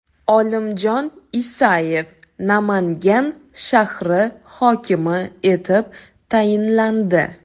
Olimjon Isayev Namangan shahri hokimi etib tayinlandi.